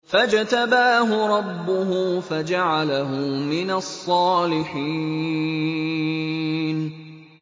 فَاجْتَبَاهُ رَبُّهُ فَجَعَلَهُ مِنَ الصَّالِحِينَ